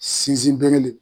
Sinsin berele.